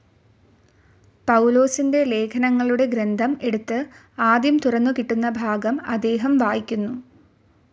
പൗലോസിൻ്റെ ലേഖനങ്ങളുടെ ഗ്രന്ഥം എടുത്തു ആദ്യം തുറന്നു കിട്ടുന്ന ഭാഗം അദ്ദേഹം വായിക്കുന്നു